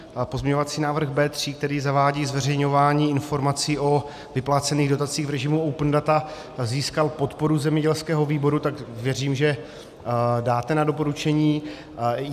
Pozměňovací návrh B3, který zavádí zveřejňování informací o vyplacených dotacích v režimu open data, získal podporu zemědělského výboru, tak věřím, že dáte na doporučení.